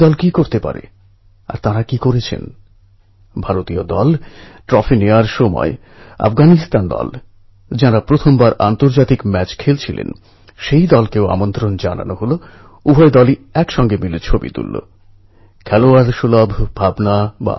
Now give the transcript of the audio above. কল্পনা করতে পারেন মৃত্যুর মুখোমুখি দাঁড়িয়ে ওই কিশোররা যখন একএকটা মুহূর্ত কাটাচ্ছিল তখন সেই সময়টা কেমন ছিল একদিকে তারা যখন বিপদের সঙ্গে লড়াই করছিল তখন অন্যদিকে সমগ্র বিশ্বের মানুষ একজোট হয়ে এই কিশোরদের নিরাপদে বাইরে বেরনোর জন্য প্রার্থনা করছিল